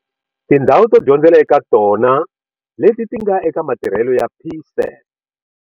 Tindhawu to dyondzela eka tona leti ti nga eka matirhelo ya PSET.